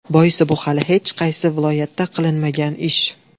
Boisi bu hali hech qaysi viloyatda qilinmagan ish.